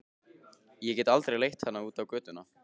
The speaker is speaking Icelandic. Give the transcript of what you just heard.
Ég get aldrei leitt hana út á götuna.